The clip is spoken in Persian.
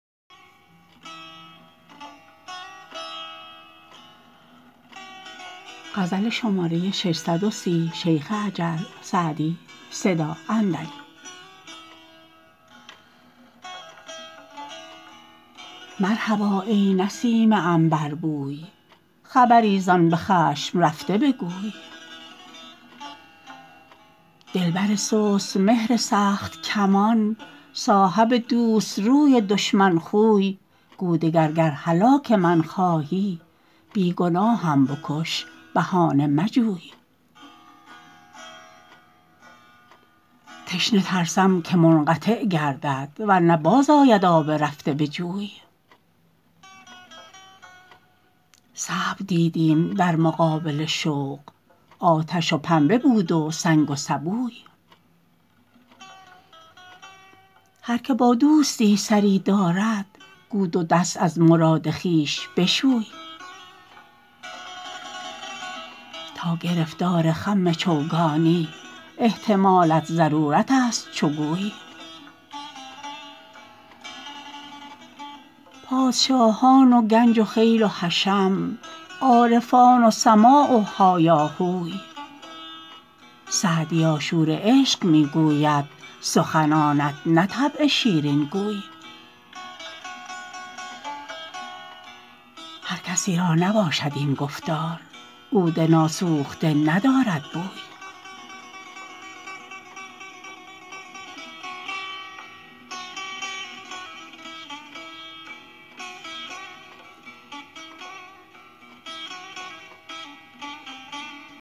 مرحبا ای نسیم عنبربوی خبری زآن به خشم رفته بگوی دلبر سست مهر سخت کمان صاحب دوست روی دشمن خوی گو دگر گر هلاک من خواهی بی گناهم بکش بهانه مجوی تشنه ترسم که منقطع گردد ور نه باز آید آب رفته به جوی صبر دیدیم در مقابل شوق آتش و پنبه بود و سنگ و سبوی هر که با دوستی سری دارد گو دو دست از مراد خویش بشوی تا گرفتار خم چوگانی احتمالت ضرورت است چو گوی پادشاهان و گنج و خیل و حشم عارفان و سماع و هایاهوی سعدیا شور عشق می گوید سخنانت نه طبع شیرین گوی هر کسی را نباشد این گفتار عود ناسوخته ندارد بوی